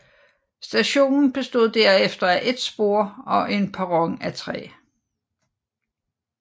Stationen bestod derefter af et spor og en perron af træ